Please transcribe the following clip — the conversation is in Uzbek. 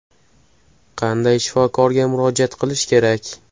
Qanday shifokorga murojaat qilish kerak?